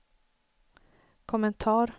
kommentar